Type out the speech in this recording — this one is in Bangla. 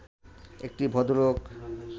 একটি ভদ্রলোক